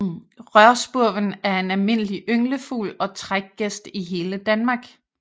Rørspurven er en almindelig ynglefugl og trækgæst i hele Danmark